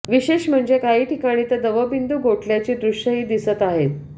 विशेष म्हणजे काही ठिकाणी तर दवबिंदू गोठल्याची दृश्यंही दिसत आहेत